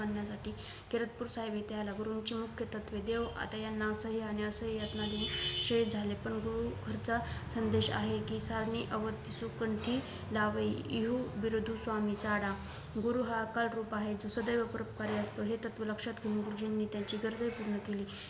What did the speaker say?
संदेश आहे कि सारणी अवध सुकंठी लाभे इहू विरुदु स्वामी साढा गुरु हा अकाळ रूप आहे जो सदैव परोपकारी असतो हे तत्व लक्ष्यात घेऊन गुरुजींनी त्यांची गरजेही पूर्ण केली